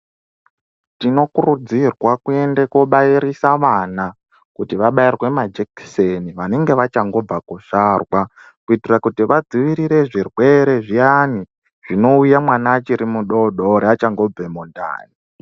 Tinokurudzirwa kuende kunobairisa vana vabairwe majekiseni vanenge vachangobva kuzvarwa kuitira kuti vadzivirire zvirwere zviyani zvinouya mwana achiri mudodori achangobva mundani.